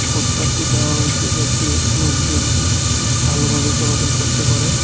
ফুটপাতটি দেওয়া হয়েছে যাতে লোকজন ভালোভাবে চলাচল করতে পারে .